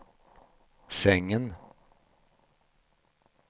sängen